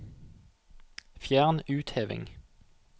Fjern utheving